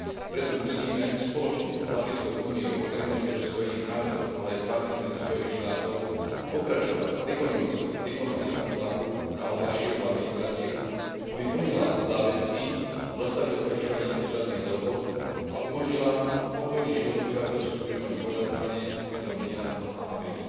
Preto musíme spoločne s Africkou úniou, Organizáciou Spojených národov, ale aj s partnermi zo Spojených štátov pokračovať v ekonomickom a diplomatickom tlaku na al Bašírovu administratívu, aby plnila záväzky a zastavila porušovanie medzištátnych dohôd a umožnila pokojný život obyvateľstvu v Južnom Kordofáne, Modrom Níle a Abjíi.